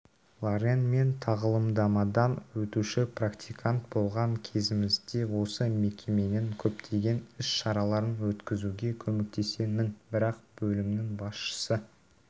лорен мен тағылымдамадан өтуші практикант болған кезімде осы мекеменің көптеген іс-шараларын өткізуге көмектескенмін бірақ бөлімінің басшысы